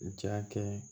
Ja kɛ